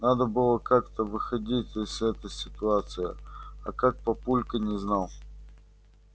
надо было как-то выходить из этой ситуации а как папулька не знал